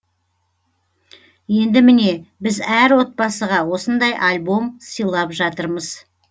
енді міне біз әр отбасыға осындай альбом сыйлап жатырмыз